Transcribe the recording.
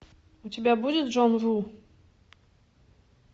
у тебя будет джон ву